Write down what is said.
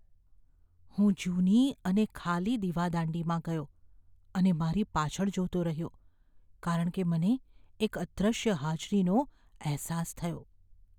હું જૂની અને ખાલી દીવાદાંડીમાં ગયો અને મારી પાછળ જોતો રહ્યો કારણ કે મને એક અદૃશ્ય હાજરીનો અહેસાસ થયો.